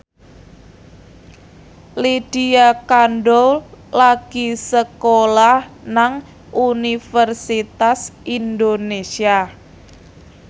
Lydia Kandou lagi sekolah nang Universitas Indonesia